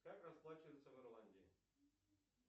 как расплачиваться в ирландии